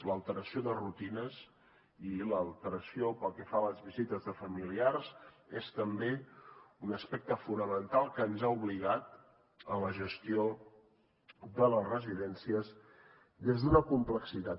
l’alteració de rutines i l’alteració pel que fa a les visites de familiars és també un aspecte fonamental que ens ha obligat a la gestió de les residències des d’una complexitat